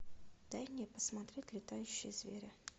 дай мне посмотреть летающие звери